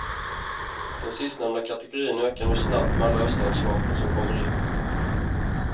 Den sistnämnda kategorin ökar nu snabbt med alla öststatsvapen som kommer in.